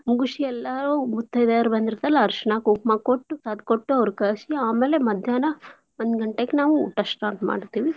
ಮುಗುಶಿ ಎಲ್ಲಾರೂ ಮುತ್ತೈದೆಯರ್ ಬಂದಿರ್ತಾರಲ ಅರ್ಷ್ಣಾ ಕುಂಕುಮ ಕೊಟ್ಟು ಕೊಟ್ಟು ಅವ್ರ್ ಕಳಿಶಿ ಆಮೇಲೇ ಮದ್ಯಾನ ಒಂದ್ ಗಂಟೇಕ್ ನಾವು ಊಟ start ಮಾಡ್ತೇವಿ.